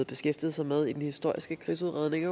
beskæftiget sig med i den historiske krigsudredning